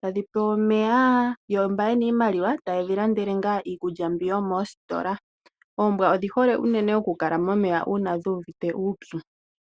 tadhi pewa omeya yo mba ye na iimaliwa tayedhi landele ngaa iikulya mbi yomoostola. Oombwa odhi hole unene okukala momeya uuna dhu uvite uupyu.